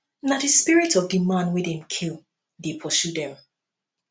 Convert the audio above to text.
na di spirit of di man wey dem kill dey pursue dem